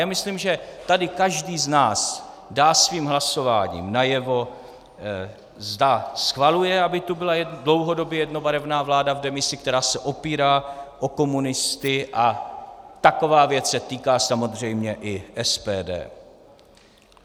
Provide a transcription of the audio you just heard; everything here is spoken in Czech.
Já myslím, že tady každý z nás dá svým hlasováním najevo, zda schvaluje, aby tu byla dlouhodobě jednobarevná vláda v demisi, která se opírá o komunisty, a taková věc se týká samozřejmě i SPD.